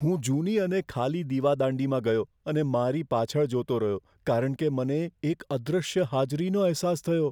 હું જૂની અને ખાલી દીવાદાંડીમાં ગયો અને મારી પાછળ જોતો રહ્યો કારણ કે મને એક અદૃશ્ય હાજરીનો અહેસાસ થયો.